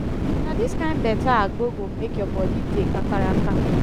na dis kain beta agbo go make your bodi dey kakaraka.